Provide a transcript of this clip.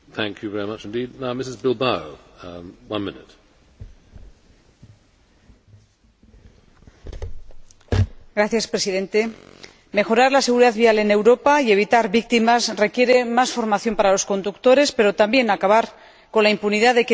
Señor Presidente, mejorar la seguridad vial en Europa y evitar víctimas requiere más formación para los conductores, pero también acabar con la impunidad de quienes cometen las infracciones más peligrosas.